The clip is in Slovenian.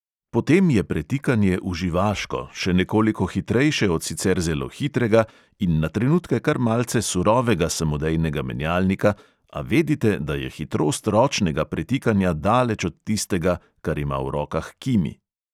Potem je pretikanje uživaško, še nekoliko hitrejše od sicer zelo hitrega in na trenutke kar malce surovega samodejnega menjalnika, a vedite, da je hitrost ročnega pretikanja daleč od tistega, kar ima v rokah kimi.